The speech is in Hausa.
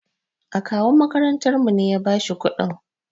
Akawun ma'aikatarmu ne ya ba shi kuɗin.